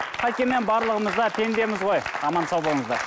қайткенмен барлығымыз да пендеміз ғой аман сау болыңыздар